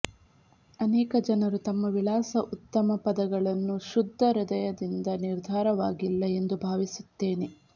ಅನೇಕ ಜನರು ತಮ್ಮ ವಿಳಾಸ ಉತ್ತಮ ಪದಗಳನ್ನು ಶುದ್ಧ ಹೃದಯದಿಂದ ನಿರ್ಧಾರವಾಗಿಲ್ಲ ಎಂದು ಭಾವಿಸುತ್ತೇನೆ